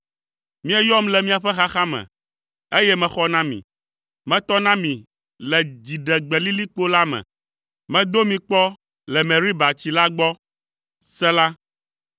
Mieyɔm le miaƒe xaxa me, eye mexɔ na mi. Metɔ na mi le dziɖegbelilikpo la me. Medo mi kpɔ le Meriba tsi la gbɔ. Sela